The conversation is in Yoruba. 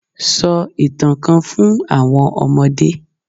Sọ ìtàn kan fun àwọn ọmọdé